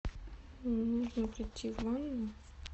мне нужно пройти в ванну